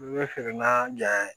N bɛ feere na ja